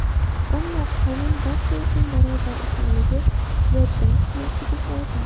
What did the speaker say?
Ammo, qonun barcha uchun barobar ekanligi yoddan chiqarmaslik lozim.